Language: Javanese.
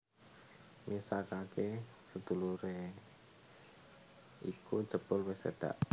Misakake sedulure iku jebul wis seda